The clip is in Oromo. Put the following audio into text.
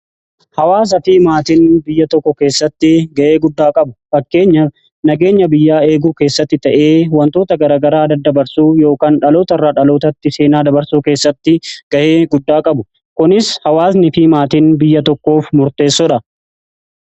Hawaasaa fi maatiin biyya tokko keessatti ga'ee guddaa qabu fakkeenya nageenya biyyaa eeguu keessatti ta'ee wantoota garagaraa daddabarsuu ykn dhaloota irraa dhalootatti seenaa dabarsuu keessatti ga'ee guddaa qabu kunis hawaasni fii maatiin biyya tokkoof murteessoodha.